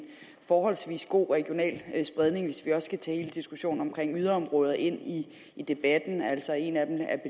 forholdsvis god regional spredning hvis vi også skal tage hele diskussionen om yderområder ind i debatten altså en af dem er